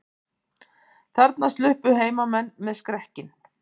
Þarna sluppu heimamenn með skrekkinn